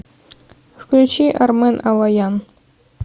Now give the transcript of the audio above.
включи армен алоян